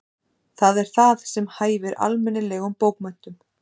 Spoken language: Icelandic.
Það er það sem hæfir almennilegum bókmenntum.